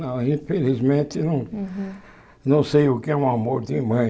Não, infelizmente não Uhum Não sei o que é um amor de mãe.